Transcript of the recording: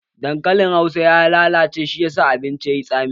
Dankalin hausan ya lalace shi ya sa abincin yayi tsami